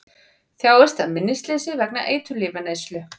Þjáist af minnisleysi vegna eiturlyfjaneyslu